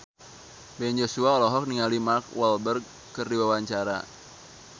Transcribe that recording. Ben Joshua olohok ningali Mark Walberg keur diwawancara